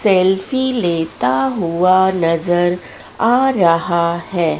Selfie लेता हुआ नजर आ रहा है।